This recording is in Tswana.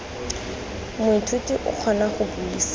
moithuti o kgona go buisa